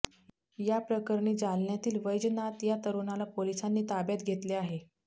या प्रकरणी जालन्यातील वैजनाथ या तरुणाला पोलिसांनी ताब्यात घेतले आहे